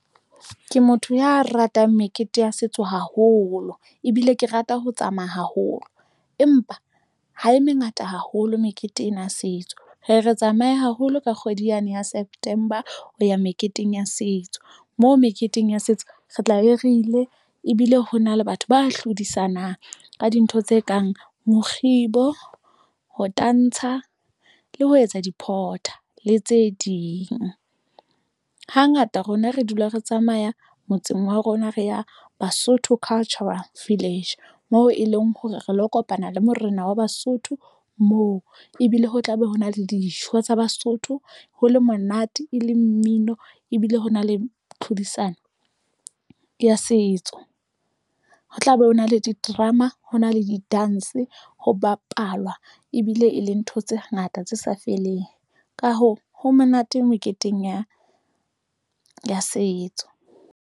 Ke motho ya ratang mekete ya setso haholo ebile ke rata ho tsamaya haholo. Empa ha e mengata haholo mekete ena ya setso re re tsamaye haholo ka kgwedi yane ya September ho ya meketeng ya setso. Moo meketeng ya setso re tla be re ile, ebile ho na le batho ba hlodisanang ka dintho tse kang mokgibo, ho tantsha le ho etsa di-porter le tse ding. Hangata rona re dula re tsamaya motseng wa rona, re ya Basotho Cultural Village moo e leng hore re lo kopana le morena wa Basotho moo. Ebile ho tla be ho na le dijo tsa Basotho ho le monate e le mmino ebile ho na le tlhodisano ya setso. Ho tla be ho na le di-drama, ho na le di-dance. Ho bapalwa ebile e le ntho tse ngata tse sa feleng. Ka hoo, ho monate meketeng ya ya setso.